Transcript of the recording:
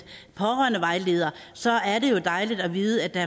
pårørendevejledere så er det jo dejligt at vide at der